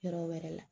Yɔrɔ wɛrɛ la